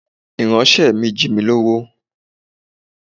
Ìránṣẹ́ mi jí mi lówó.